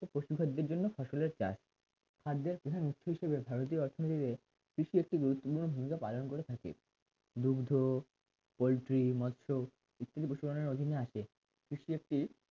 পশু খাদ্যের জন্য ফসলের চাষ খাদ্যের প্রধান উৎকৃষ্ট হিসেবে ভারতের অর্থনীতিতে কৃষি একটি গুরুত্বপূর্ণ ভূমিকা পালন করে থাকে দুগ্ধ পোল্ট্রি মৎস্য ইত্যাদি পশুপালনের অধীনে আছে